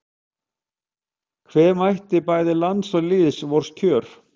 Hve mætti bæta lands og lýðs vors kjör